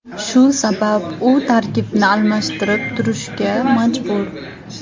Shu sabab u tarkibni almashtirib turishga majbur.